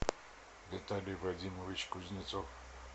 виталий вадимович кузнецов